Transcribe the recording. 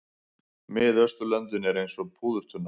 Miðausturlöndin eru eins og púðurtunna.